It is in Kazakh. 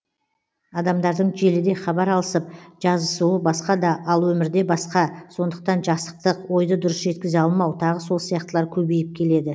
адамдардың желіде хабар алысып жазысуы басқа да ал өмірде басқа сондықтан жасықтық ойды дұрыс жеткізе алмау тағы сол сияқтылар көбейіп келеді